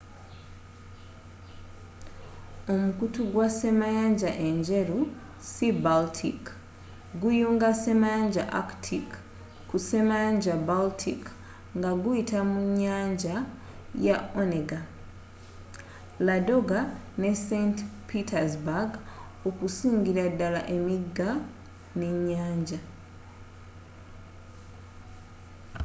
omukutu gwa ssemayanja enjeru sea-baltic guyunga ssemayanja arctic ku ssemayanja baltic nga guyita munyanja ya onega ladoga ne saint petersburg okusingira dala emiiga n'enyanja